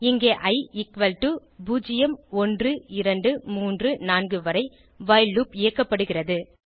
இங்கே i equal to 0 1 2 3 4 வரை while loop இயக்கப்படுகிறது